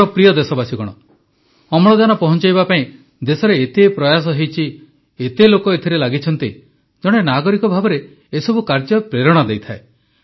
ମୋର ପ୍ରିୟ ଦେଶବାସୀଗଣ ଅମ୍ଳଜାନ ପହଞ୍ଚାଇବା ପାଇଁ ଦେଶରେ ଏତେ ପ୍ରୟାସ ହୋଇଛି ଏତେ ଲୋକ ଏଥିରେ ଲାଗିଛନ୍ତି ଜଣେ ନାଗରିକ ଭାବେ ଏସବୁ କାର୍ଯ୍ୟ ପ୍ରେରଣା ଦେଇଥାଏ